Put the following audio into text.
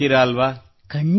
ಬರೆಯುತ್ತೀರಲ್ಲವೇ